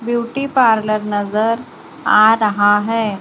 Beauty parlour नजर आ रहा है।